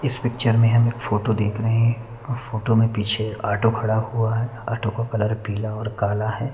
इस पिक्चर में हमें फोटो देख रहे हैं और फोटो में पीछे ऑटो खड़ा हुआ है ऑटो का कलर पीला और काला है।